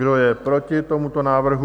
Kdo je proti tomuto návrhu?